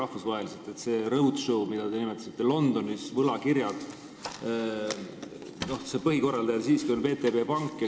Selle roadshow', mida te nimetasite, London ja võlakirjad, põhikorraldaja on siiski VTB pank.